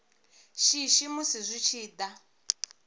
shishi musi zwi tshi da